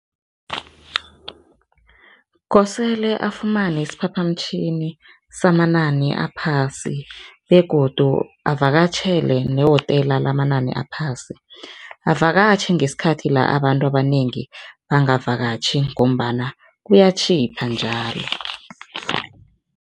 Kosele afumane isiphaphamtjhini samanani aphasi begodu avakatjhele ne-hotela lamanani aphasi, avakatjhe ngesikhathi la abantu abanengi bangavakatjhi ngombana kuyatjhipha njalo.